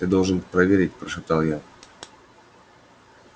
я должен проверить прошептал я